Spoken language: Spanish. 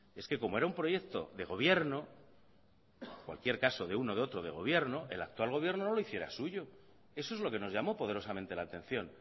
es que como era un proyecto de gobierno en cualquier caso de uno o de otro de gobierno el actual gobierno no lo hiciera suyo eso es lo que nos llamó poderosamente la atención